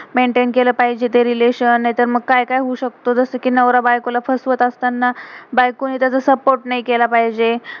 Menten maintain केलं पाहिजे ते रिलेशन relation. नाही तर मग का्य का्य होऊ शकतं. जसं कि नवरा बायको ला फस्वत असताना, बायको ण त्याचा सपोर्ट support नाही केलं पाहिजे.